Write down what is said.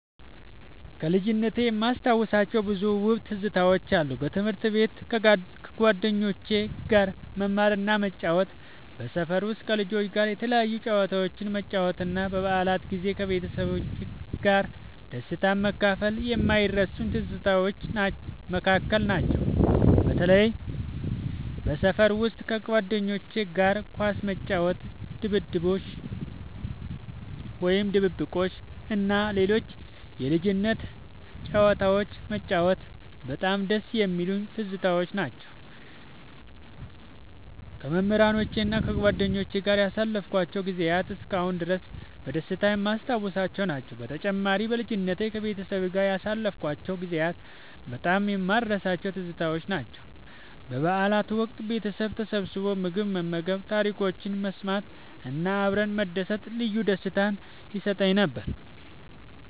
ከልጅነቴ የማስታውሳቸው ብዙ ውብ ትዝታዎች አሉ። በትምህርት ቤት ከጓደኞቼ ጋር መማርና መጫወት፣ በሰፈር ውስጥ ከልጆች ጋር የተለያዩ ጨዋታዎችን መጫወት እና በበዓላት ጊዜ ከቤተሰቤ ጋር ደስታን መካፈል ከማይረሱኝ ትዝታዎች መካከል ናቸው። በተለይም በሰፈር ውስጥ ከጓደኞቼ ጋር ኳስ መጫወት፣ ድብብቆሽ እና ሌሎች የልጅነት ጨዋታዎችን መጫወት በጣም ደስ የሚሉኝ ትዝታዎች ናቸው። ከመምህራኖቼና ከጓደኞቼ ጋር ያሳለፍኳቸው ጊዜያትም እስካሁን ድረስ በደስታ የማስታውሳቸው ናቸው። በተጨማሪም፣ በልጅነቴ ከቤተሰቤ ጋር ያሳለፍኳቸው ጊዜያት በጣም የማልረሳቸው ትዝታዎች ናቸው። በበዓላት ወቅት ቤተሰብ ተሰብስቦ ምግብ መመገብ፣ ታሪኮችን መሰማት እና አብረን መደሰት ልዩ ደስታ ይሰጠኝ ነበር።